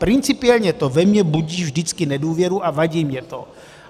Principiálně to ve mně budí vždycky nedůvěru a vadí mi to.